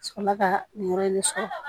Sɔrɔla ka nin yɔrɔ in de sɔrɔ